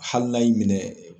Hali n'a y'i minɛ.